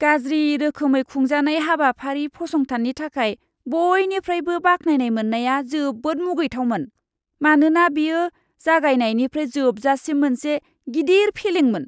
गाज्रि रोखोमै खुंजानाय हाबाफारि फसंथाननि थाखाय बयनिफ्रायबो बाख्नायनाय मोन्नाया जोबोद मुगैथावमोन, मानोना बेयो जागायनायनिफ्राय जोबजासिम मोनसे गिदिर फेलेंमोन!